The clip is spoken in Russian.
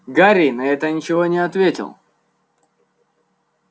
гарри на это ничего не ответил